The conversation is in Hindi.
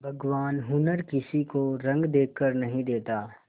भगवान हुनर किसी को रंग देखकर नहीं देता